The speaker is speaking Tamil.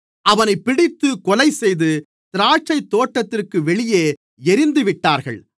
அவனைப் பிடித்துக் கொலைசெய்து திராட்சைத்தோட்டத்திற்குப் வெளியே எறிந்துவிட்டார்கள்